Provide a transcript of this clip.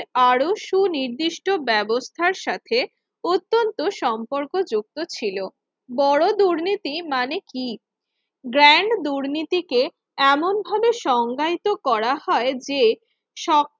আরো সুনির্দিষ্ট ব্যবস্থার সাথে অত্যন্ত সম্পর্কযুক্ত ছিল বড় দুর্নীতি মানে কি grand দুর্নীতিকে এমনভাবে সংজ্ঞায়িত করা হয় যে সব